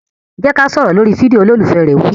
Jẹ́ ká sọ̀rọ̀ lórí fídíò! Olólùfẹ́ rẹ̀ wí.